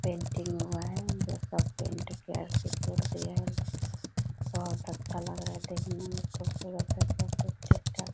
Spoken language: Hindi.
पेंटिंग हुआ है ये सब पेंट कर के छोड़ दिए हैं बहुत अच्छा लग रहा है देखने में खूबसुरत है सब कुछ ठीक-ठाक --